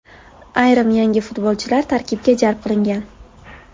Ayrim yangi futbolchilar tarkibga jalb qilingan.